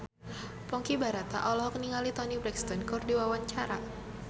Ponky Brata olohok ningali Toni Brexton keur diwawancara